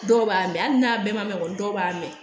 Dɔw b'a mɛn hali n'a bɛɛ ma mɛn kɔni dɔw b'a mɛn